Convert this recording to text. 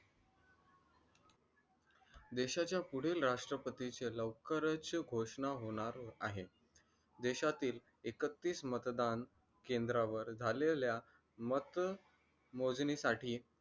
देशाच्या पुढील राष्ट्रपतीचे घोषणा होणार आहे देशातील एकतीस मतदान केंद्रावर झालेल्या मत मोजणीसाठी